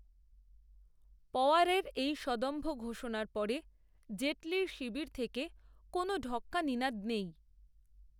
পওয়ারের এই সদম্ভ ঘোষণার পরে, জেটলির শিবির থেকে কোনও ঢক্কানিনাদ নেই